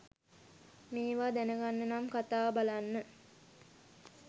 මේවා දැනගන්නනම් කථාව බලන්න